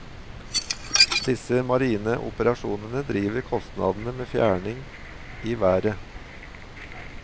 Disse marine operasjonene driver kostnadene med fjerning i været.